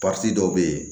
dɔw bɛ yen